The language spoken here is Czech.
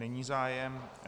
Není zájem.